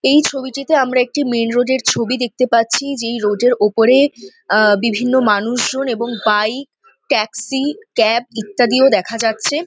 এই ছবিটিতে আমরা একটি মেন রোড - এর ছবি দেখতে পাচ্ছি। যেই রোড -এর ওপরে আ বিভিন্ন মানুষজন এবং বাইক ট্যাক্সি ক্যাব ইত্যাদিও দেখা যাচ্ছে।